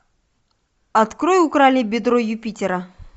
открой украли бедро юпитера